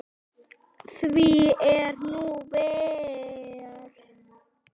Því er nú ver.